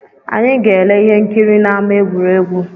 Anyị ga-ele ihe nkiri n’ama egwuregwu